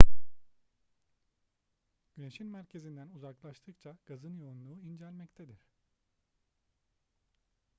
güneşin merkezinden uzaklaştıkça gazın yoğunluğu incelmektedir